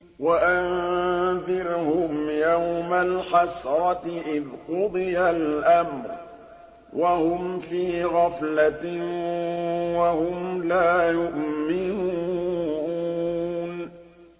وَأَنذِرْهُمْ يَوْمَ الْحَسْرَةِ إِذْ قُضِيَ الْأَمْرُ وَهُمْ فِي غَفْلَةٍ وَهُمْ لَا يُؤْمِنُونَ